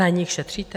Na nich šetříte?